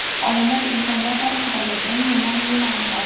Olimlar insoniyat tarixidagi eng yomon yilni aniqladi.